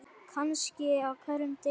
Kannski á hverjum degi.